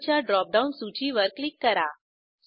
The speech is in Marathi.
रोळे च्या ड्रॉपडाऊन सूचीवर क्लिक करा